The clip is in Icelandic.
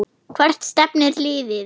Hvert stefnir liðið?